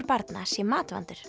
barna sé matvandur